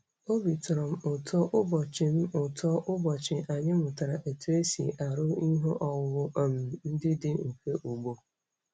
Obi tọrọ m ụtọ ụbọchị m ụtọ ụbọchị anyị mụtara otú e si arụ ihe owuwu um ndị dị mfe ugbo.